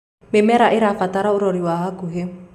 mĩmera irabatara urori wa hakuhi